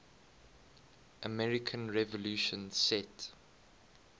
american revolution set